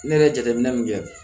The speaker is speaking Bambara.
Ne yɛrɛ ye jateminɛ min kɛ